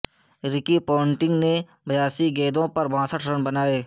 رکی پونٹنگ نے بیاسی گیندوں پر باسٹھ رن بنائے